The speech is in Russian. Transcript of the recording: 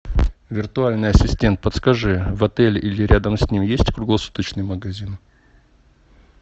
виртуальный ассистент подскажи в отеле или рядом с ним есть круглосуточный магазин